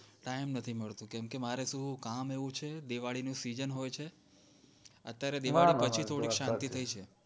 time નથી મળતો કેમકે મારે કામ એવું છે દિવાળી ની season હોય છે અત્યારે દિવાળી પછી થોડીક શાંતિ થઈ છે